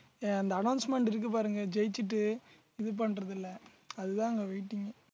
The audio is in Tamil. அஹ் அந்த announcement இருக்கு பாருங்க ஜெயிச்சுட்டு இது பண்றதுல அதுதான் அங்க waiting ஏ